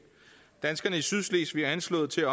danskerne i sydslesvig er anslået til